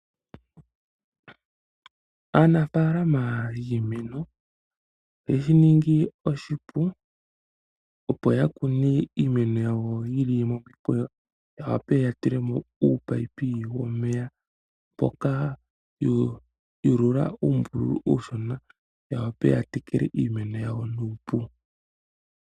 Aanafaalama yiimeno yeshiningi oshipu, opo ya kune iimeno ya wo yi li momikweyo ya wape ya tule mo uupipe womeya, mpoka ya ulula uumbululu uushona ya wa pe ya teke le iimeno ya wo nuupu.